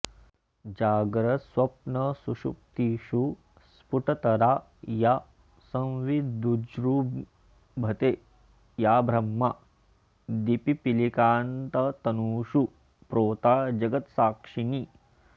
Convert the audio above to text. जाग्रत्स्वप्नसुषुप्तिषु स्फुटतरा या संविदुज्जृम्भते या ब्रह्मादिपिपीलिकान्ततनुषु प्रोता जगत्साक्षिणी